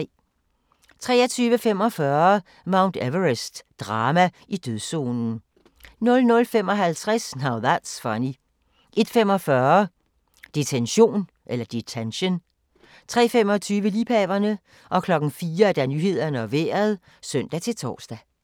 23:45: Mount Everest - drama i dødszonen 00:55: Now That's Funny 01:45: Detention 03:25: Liebhaverne 04:00: Nyhederne og Vejret (søn-tor)